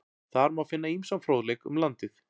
Þar má finna ýmsan fróðleik um landið.